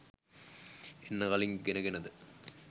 එන්න කලින් ඉගෙනගෙනද